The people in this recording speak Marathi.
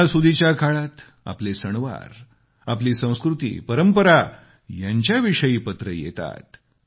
सणासुदीच्या काळात आपले सणवारआपली संस्कृती परंपरा यांच्याविषयीची पत्रे येतात